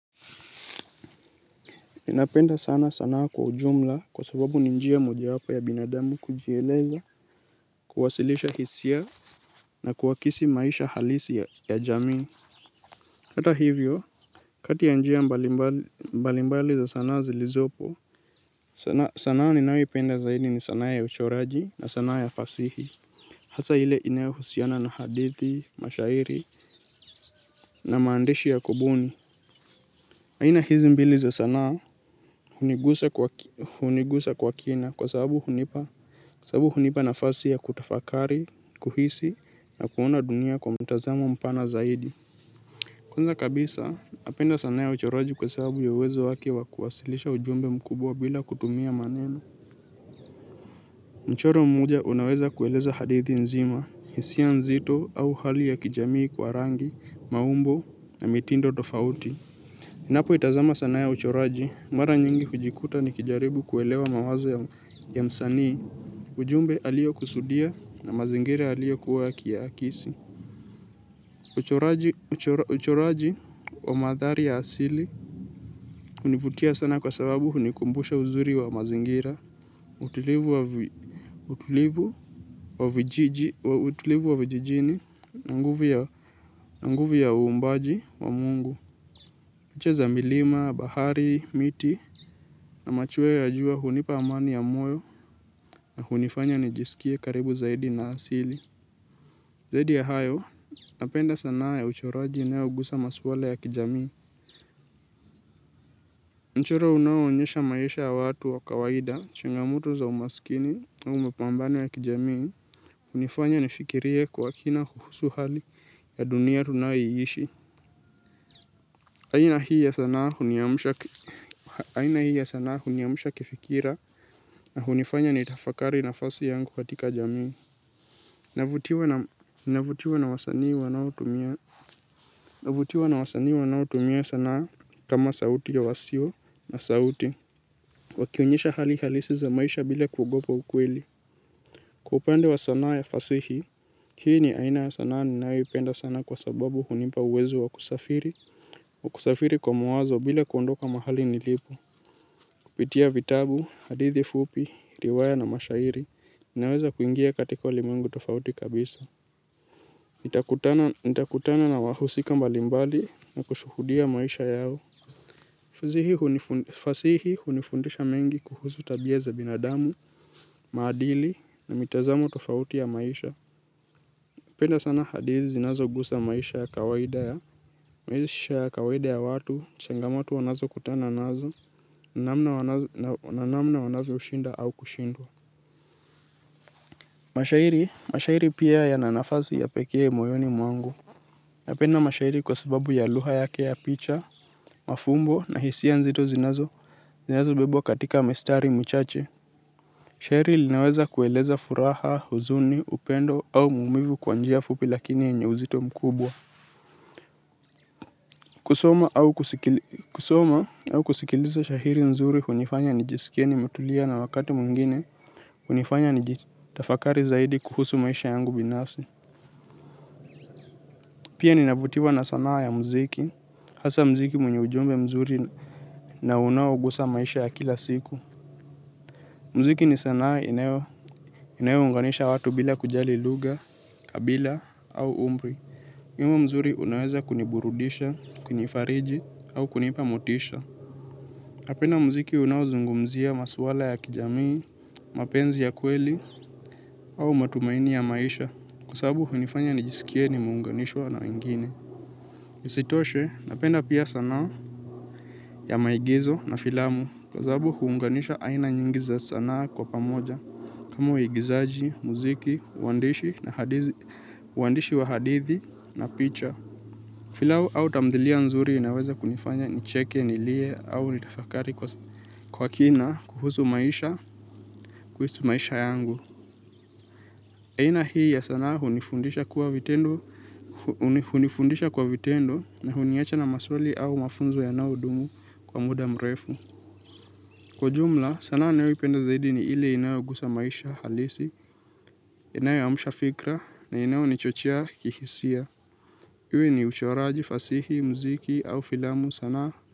Ninapenda sana sanaa kwa ujumla kwa sababu ni njia mojawapo ya binadamu kujieleza, kuwasilisha hisia na kuakisi maisha halisi ya jamii. Hata hivyo, kati ya njia mbalimbali za sanaa zilizopo, sanaa ninayoipenda zaidi ni sanaa ya uchoraji na sanaa ya fasihi. Hasa ile inayohusiana na hadithi, mashairi na maandishi ya kubuni. Aina hizi mbili za sanaa hunigusa kwa kina kwa sababu hunipa nafasi ya kutafakari, kuhisi na kuona dunia kwa mtazamo mpana zaidi. Kwanza kabisa, napenda sanaa ya uchoraji kwa sababu ya uwezo wake wa kuwasilisha ujumbe mkubwa bila kutumia maneno. Mchoro mmoja unaweza kueleza hadithi nzima hisia nzito au hali ya kijamii kwa rangi maumbo na mitindo tofauti ninapo itazama sanaa ya uchoraji, mara nyingi hujikuta nikijaribu kuelewa mawazo ya msanii, ujumbe alio kusudia na mazingira alio kuwa akiyaakisi. Uchoraji wa maadhari ya asili, hunivutia sana kwa sababu hunikumbusha uzuri wa mazingira, utulivu wa vijijini, na nguvu ya uumbaji wa mungu. Picha za milima, bahari, miti, na machweo ya jua hunipa amani ya moyo na hunifanya nijisikie karibu zaidi na asili. Zaidi ya hayo, napenda sanaa ya uchoraji inayogusa maswala ya kijamii. Mchoro unaonyesha maisha ya watu wa kawaida, changamoto za umasikini au mapambano ya kijamii. Hunifanya nifikirie kwa kina kuhusu hali ya dunia tunayoishi aina hii ya sanaa huniamsha. Aina hii ya sanaa huniamsha kifikira na hunifanya nitafakari nafasi yangu katika jamii. Navutiwa na wasanii wanaotumia sanaa kama sauti ya wasio na sauti wakionyesha hali halisi za maisha bila kuogopa ukweli. Kwa upande wa sanaa ya fasihi, hii ni aina ya sanaa ninayoipenda sana kwa sababu hunipa uwezo wa kusafiri. Wa kusafiri kwa mawazo bila kundoka mahali nilipo. Kupitia vitabu, hadithi fupi, riwaya na mashairi, ninaweza kuingia katika ulimwengu tofauti kabisa. Nitakutana na wahusika mbalimbali na kushuhudia maisha yao. Fasihi hunifundisha mengi kuhusu tabia za binadamu, maadili na mitazamo tofauti ya maisha. Napenda sana hadithi zinazo gusa maisha ya kawaida ya. Maisha ya kawaida ya watu, changamoto wanazo kutana nazo, na namna wanazo shinda au kushindwa. Mashairi mashairi pia yana nafasi ya pekee moyoni mwangu. Napenda mashairi kwa sababu ya lugha yake ya picha mafumbo na hisia nzito zinazo zinazo bebwa katika mistari michache shairi linaweza kueleza furaha huzuni upendo au maumivu kwa njia fupi lakini yenye uzito mkubwa. Kusoma au kusikiliza shairi nzuri hunifanya nijisikie nimetulia na wakati mwingine hunifanya nijitafakari zaidi kuhusu maisha yangu binafsi. Pia ninavutiwa na sanaa ya muziki, hasa muziki mwenye ujumbe mzuri na unao gusa maisha ya kila siku. Muziki ni sanaa inayoe unganisha watu bila kujali lugha, kabila au umri. Ma mzuri unaweza kuniburudisha, kunifariji au kunipa motisha. Napenda muziki unao zungumzia maswala ya kijamii, mapenzi ya kweli au matumaini ya maisha kwa sababu hunifanya nijisikie nimeunganishwa na wengine. Isitoshe napenda pia sanaa ya maigizo na filamu kwa sababu huunganisha aina nyingi za sanaa kwa pamoja. Kama uigizaji, muziki, uandishi na uandishi wa hadithi na picha filamu au tamthilia nzuri inaweza kunifanya nicheke, nilie au nitafakari kwa kina kuhusu maisha, kuhusu maisha yangu aina hii ya sanaa hunifundisha kwa vitendo na huniacha na maswali au mafunzo yanao dumu kwa muda mrefu. Kwa jumla, sanaa ninayo ipenda zaidi ni ile inayo gusa maisha halisi, inayo amsha fikra na inayo nichochea kihisia. Iwe ni uchoraji, fasihi, muziki au filamu sanaa.